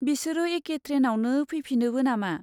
बिसोरो एखे ट्रेनआवनो फैफिनोबो नामा?